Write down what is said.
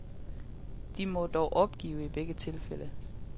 De må dog opgive i begge tilfælde.